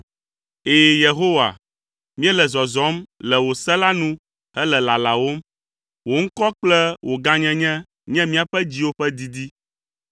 Ɛ̃, Yehowa, míele zɔzɔm le wò se la nu hele lalawòm; wò ŋkɔ kple wò gãnyenye nye míaƒe dziwo ƒe didi.